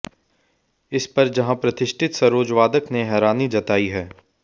इस पर जहां प्रतिष्ठित सरोज वादक ने हैरानी जताई है